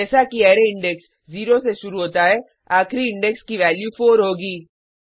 जैसा कि array index 0 से शुरू होता है आखिरी इंडेक्स वैल्यू 4 होगी